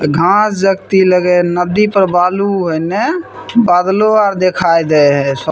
घास लगे नदी पर बालू है ना बादलो आर दिखयी दे है सब --